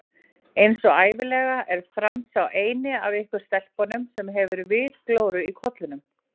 Einsog ævinlega er Franz sá eini af ykkur stelpunum sem hefur vitglóru í kollinum